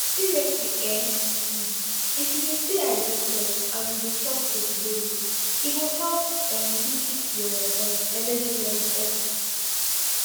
seriously ehh um if you de stay hydrated and you de chop fruits daily e go help um you keep your um energy level up